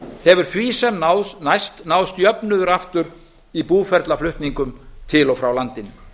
hefur því sem næst náðst jöfnuður aftur í búferlaflutningum til og frá landinu